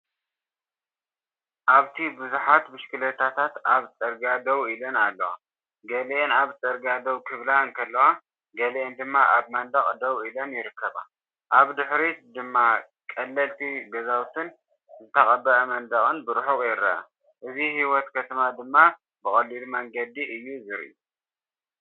ኣብቲ ብዙሓት ብሽክለታታት ኣብ ጽርግያ ደው ኢለን ኣለዋ። ገሊአን ኣብ ጽርግያ ደው ክብላ እንከለዋ፡ገሊአን ድማ ኣብ መንደቕ ደው ኢለን ይርከባ። ኣብ ድሕሪት ድማ ቀለልቲ ገዛውትን ዝተቐብአ መንደቕን ብርሑቕ ይርአ። እዚ ህይወት ከተማ ድማ ብቐሊል መንገዲ እዩ ዝርኢ።